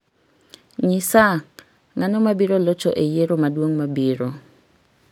nyisa ng'ano mabiro locho e yiero maduong' mabiro